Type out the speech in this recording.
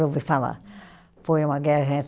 Ouvi falar, foi uma guerra